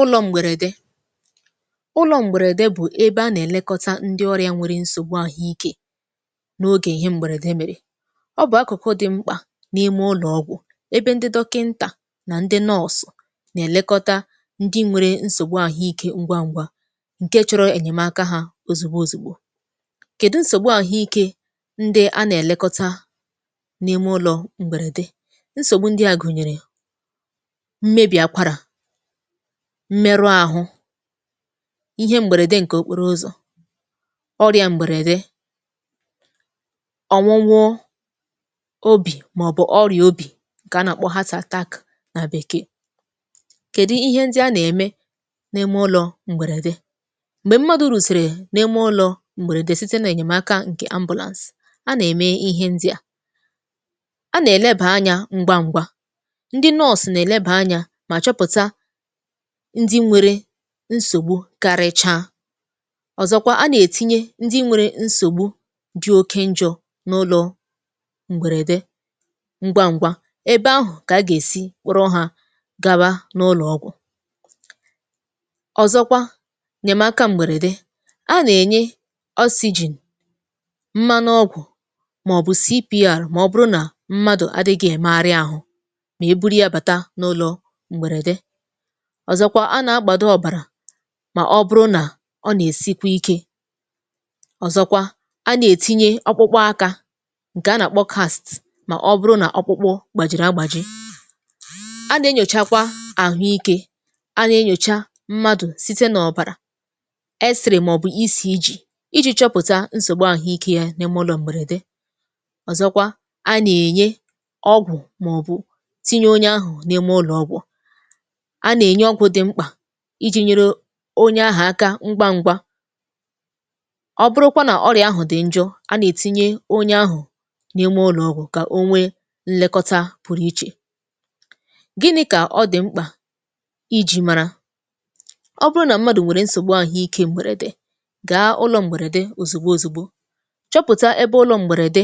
ụlọ m̀gbèrède ụlọ̄ m̀gbèrede bụ̀ ebe a nà-èlekọta ndi ọrịa nwere nsògbu àhụikē n’ogè ihe m̀bèrède m̀erè ọ bụ̀ akụ̀kụ̀ dị̄ mkpà n’ime ụlọ̀ ọgwụ̀ ebe ndị dọkịntà nà ndịnọọsụ̀ nà-èlekoṭa ndị nwērē nsògbu ahụīkē ngwa n̄gwā ṅ̀ke chọ̄rọ̄ ènyèmaka ha òzùgbo òzùgbo kedu nsògbu àhụike ndị a nà-èlekọ̀ta n’ime ǹgwèrède nsògbu ndịa gụ̀nyèrè mmebì akwarà mmerụ āhụ̄ ihe m̀gbèrède ṅ̀kè okporoụzọ̀ ọrịa m̀gbèrède ọnwụnwụ obì màọ̀bụ̀ ọrịa obì ṅ̀kè a nà-àkpọ heart attack nà Bekee kèdi ihe ndị a nà-ème? n’ime ụlọ̄ m̀gbèrède m̀gbè mmadụ̀̀ rụ̀sìrì n’ime ụlọ̄ m̀gbèrèdè site n’ènyemaka ṅ̀kè ambulance a nà-ème ihe ndị a a nà-èlebà anya ṅgwa ṅ̄gwā ndị nọọ̀sụ̀ nà-èlebà anya mà chọpụ̀ta ndi nwere nsògbu karịchaa ọ̀zọkwa a nà-ètinye ndị nwērē nsògbu dị oke njọ̄ n‘ụlọ̄ ǹgwèrède ṅgwa ṅ̄gwā ebe ahụ̀ kà a gà-èsi kpụrụ hā gawa n'ụlọ̀ ọgwụ̀ ọ̀zọkwa nyèmaka m̀gbèrède a nà-ènye oxygen mmanụ ọgwụ̀ màọ̀bụ̀ CPR mà ọ bụrụ nà mmadụ̀ adị̄gị̄ èmegharị ahụ mà e buru yā bàta n’ụlọ̄ m̀gbèrède ọ̀zọkwa a nà-agbàdo ọ̀bàrà mà ọ bụrụ nà ọ nà-èsikwa ikē ọ̀zọkwa a nà-ètinye ọkpụkpụ akā ṅ̀kè a nà-àkpọ cast mà ọ bụrụ nà ọkpụkpụ gbàjìrì agbàji a nà-enyòchakwa àhụike a nà-enyòcha mmadụ̀ site n’ọ̀bàrà x-ray màọ̀bụ̀ ECG ijī chọpụ̀ta nsògbu ahụīkē ya n’ime ụlọ m̀gbèrède ọzọkwa a nà-ènye ọgwụ̀ òhu tinye onye ahụ̀ n‘ime ọgwụ̀ a nà-ènye ọgwụ̀ dị mkpà ijī nyere o onye ahà aka ṅgwa ṅ̄gwā ọ bụrụkwa nà ọrịà ahụ̀ dị njọ a nà-ètinye onye ahụ̀ n’ime ụlọ̀ ọgwụ̀ kà o nwee nlekọta pụrụ ichè gịnị̄ kà ọ dị̀ mkpà ijī màrà ọ bụrụ nà mmadụ nwèrè nsògbu ahụikē m̀gbèrède gàa ụlọ̄ m̀gbèrède òzùgbo òzùgbo chọpụ̀ta ebe ụlọ̄ m̀gbèrède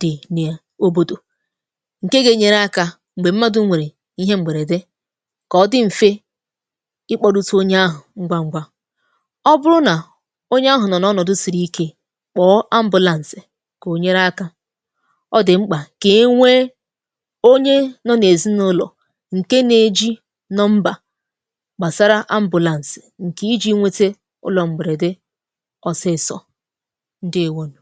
dị̀ ni òbòdò ṅ̀ke ga-enyere akā m̀gbè mmadụ̄ nwèrè ihe m̀gbèrède kà ọ dị mfe ikpodōsī onye ahụ̀ ṅgwa ṅ̄gwā ọ bụrụ nà onye ahụ̀ nọ̀ n’ọnọdụ siri ike kpọ̀ọ ambulance kà o nyere akā ọ dị̀ mkpà kà e nwee onye nọ̄ n’èzinàụlọ̀ ṅ̀ke na-ējī nọmbà gbàsara ṅ̀kè ijī nwētē ụlọ̄ m̀gbèrède ọsịị̄sọ̄ ǹdeèwonù